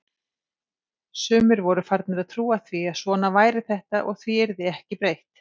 Sumir voru farnir að trúa því að svona væri þetta og því yrði ekki breytt.